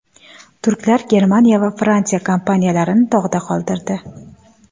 Turklar Germaniya va Fransiya kompaniyalarini dog‘da qoldirdi.